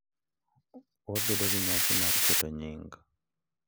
Wabedo gi nyasi mar keto nying,